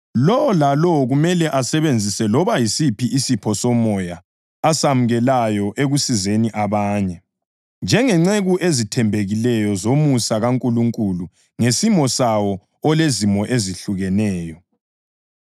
Lowo lalowo kumele asebenzise loba yisiphi isipho somoya asamukelayo ekusizeni abanye, njengenceku ezithembekileyo zomusa kaNkulunkulu ngesimo sawo olezimo ezehlukeneyo.